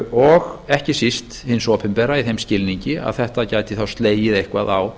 og ekki síst hins opinbera í þeim skilningi að þetta gæti þá slegið eitthvað á